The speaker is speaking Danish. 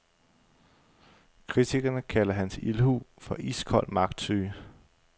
Kritikerne kalder hans ildhu for iskold magtsyge.